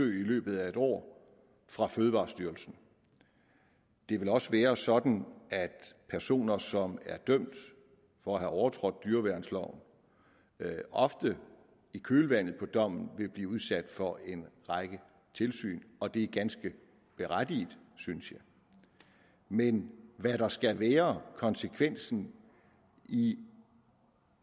løbet af et år fra fødevarestyrelsen det vil også være sådan at personer som er dømt for at have overtrådt dyreværnsloven ofte i kølvandet på dommen vil blive udsat for en række tilsyn og det er ganske berettiget synes jeg men hvad der skal være konsekvensen i